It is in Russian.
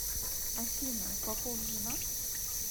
афина попов женат